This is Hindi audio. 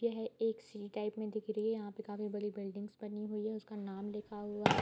यह एक सी टाइप में दिख रही है यहाँ पे काफी बड़ी बिल्डिंग्स बनी हुई है उसका नाम लिखा हुआ है।